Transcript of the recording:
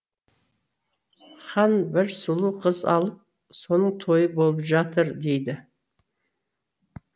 хан бір сұлу қыз алып соның тойы болып жатыр дейді